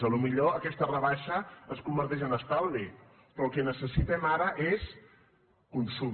potser aquesta rebaixa es converteix en estalvi però el que necessitem ara és consum